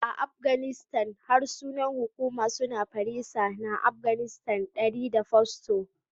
A Afganistan, harsunan hukuma sune Farisa na Afganistan (Dari) da Pashto.